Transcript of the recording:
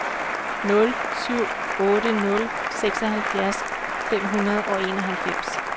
nul syv otte nul seksoghalvfjerds fem hundrede og enoghalvfems